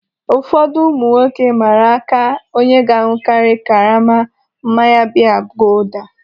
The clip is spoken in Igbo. Ụfọdụ ụmụ nwoke mmara aka onye ga-aṅụkari karama mmanya biya gulder.